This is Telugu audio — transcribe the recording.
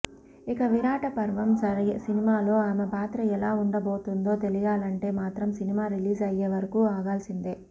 ఇక విరాటపర్వం సినిమాలో ఆమె పాత్ర ఎలా ఉండబోతుందో తెలియాలంటే మాత్రం సినిమా రిలీజ్ అయ్యే వరకు ఆగాల్సిందే